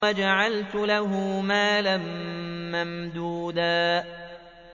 وَجَعَلْتُ لَهُ مَالًا مَّمْدُودًا